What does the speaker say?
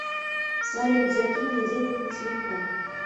салют закинь мне денег на телефон